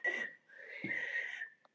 Við höfum alltaf fært þeim mat.